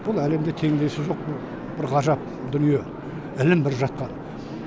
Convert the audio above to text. бұл әлемде теңдесі жоқ бір ғажап дүние ілім бір жақтан